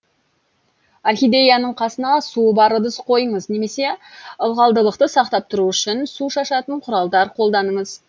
орхидеяның қасына суы бар ыдыс қойыңыз немесе ылғалдылықты сақтап тұру үшін су шашатын құралдар қолданыңыз